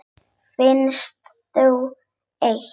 Finnst þau eitt.